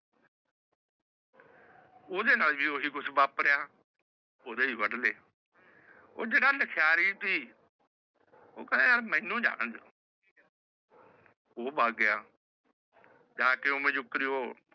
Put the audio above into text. ਓਹਦੇ ਨਾਲ ਵੀ ਓਹੀ ਕੁਛ ਬਾਪ੍ਰ੍ਯਾ ਸੀ ਓਹ ਕਹੇ ਯਾਰ ਮੈਨੂ ਜਾਨ ਦਿਓ ਉਹ ਭਗ ਗਿਆ ਜਾਕੇ ਓਵੇ ਜੁਕਰ ਈ ਉਹ